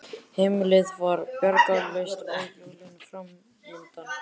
Heimilið var bjargarlaust og jólin framundan.